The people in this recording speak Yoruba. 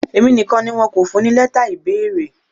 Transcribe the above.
Èmi nìkan ni wọn kò fún ní lẹ́tà ìbéèrè.